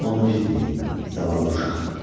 Onu incitməyin, zavallı uşaq.